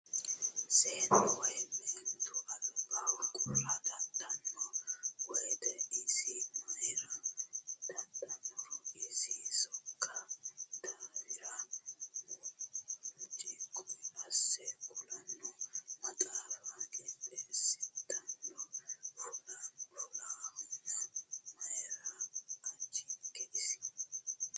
Seennu woyi meentu albaho qurra dadhano woyte isi mayra dadhanoro isi sokka daafira muccuqi asse ku'lano maxaafa qixxeesittano fulahano mayra ajunke isi ?